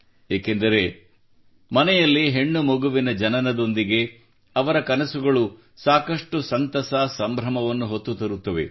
ಏಕೆಂದರೆ ಮನೆಯಲ್ಲಿ ಹೆಣ್ಣುಮಗುವಿನ ಜನನದೊಂದಿಗೆ ಅವರ ಕನಸುಗಳು ಸಾಕಷ್ಟು ಸಂತಸ ಸಂಭ್ರಮವನ್ನು ಹೊತ್ತು ತರುತ್ತವೆ